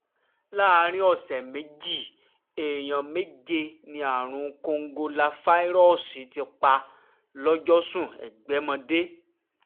láàrin ọ̀sẹ̀ méjì èèyàn méje ni àrùn kòǹgóláfàírọ́ọ̀sì ti pa lọ́jọ́sùn ẹ̀gbẹ́mọdé